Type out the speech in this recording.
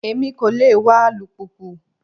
Èmi kò lè wa alùpùpù.